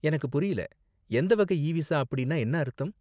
எனக்கு புரியல எந்த வகை இ விசா அப்படின்னா என்ன அர்த்தம்